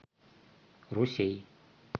русей